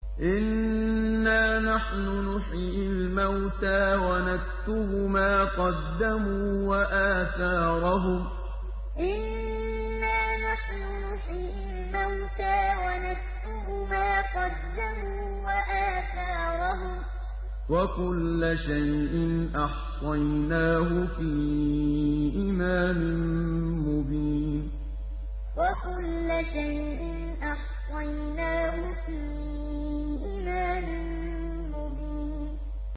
إِنَّا نَحْنُ نُحْيِي الْمَوْتَىٰ وَنَكْتُبُ مَا قَدَّمُوا وَآثَارَهُمْ ۚ وَكُلَّ شَيْءٍ أَحْصَيْنَاهُ فِي إِمَامٍ مُّبِينٍ إِنَّا نَحْنُ نُحْيِي الْمَوْتَىٰ وَنَكْتُبُ مَا قَدَّمُوا وَآثَارَهُمْ ۚ وَكُلَّ شَيْءٍ أَحْصَيْنَاهُ فِي إِمَامٍ مُّبِينٍ